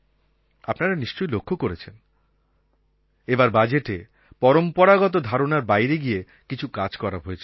আপনারা নিশ্চয়ই লক্ষ করেছেন এবার বাজেটে পরম্পরাগত ধারণার বাইরে গিয়ে কিছু কাজ করা হয়েছে